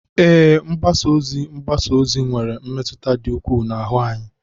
Ee, mgbasa ozi mgbasa ozi nwere mmetụta dị ukwuu n'ahụ anyị.